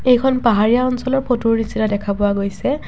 এইখন পাহাৰীয়া অঞ্চলৰ ফটোৰ নিচিনা দেখা পোৱা গৈছে।